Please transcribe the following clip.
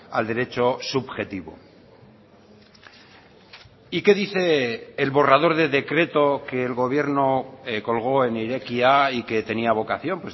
al derecho subjetivo y qué dice el borrador de decreto que el gobierno colgó en irekia y que tenía vocación